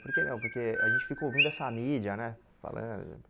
Porque não porque a gente fica ouvindo essa mídia, né? Falando